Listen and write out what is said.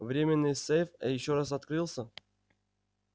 временной сейф ещё раз открывался